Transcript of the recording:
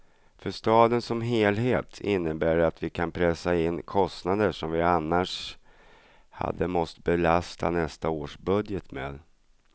För staden som helhet innebär det att vi kan pressa in kostnader som vi annars hade måste belasta nästa års budget med.